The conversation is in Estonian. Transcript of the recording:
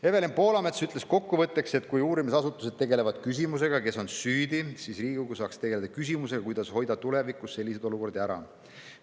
Evelin Poolamets ütles kokkuvõtteks, et kui uurimisasutused tegelevad küsimusega, kes on süüdi, siis Riigikogu saaks tegeleda küsimusega, kuidas hoida tulevikus selliseid olukordi ära.